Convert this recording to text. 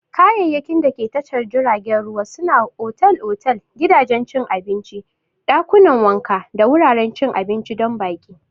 Kayayyakin dake tashar jiragen ruwa sune otal-otal, gidajen cin abinci, ɗakunan wanka da wuraren cin abinci don baƙi.